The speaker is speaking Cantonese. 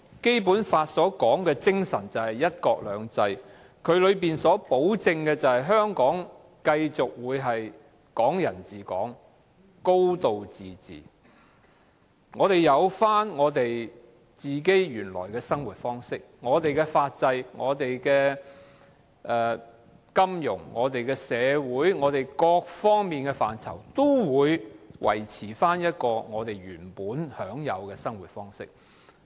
《基本法》的精神便是"一國兩制"，保證香港會繼續"港人治港"、"高度自治"，生活方式、法制、金融、社會及各方面的範疇，也會維持原本的方式。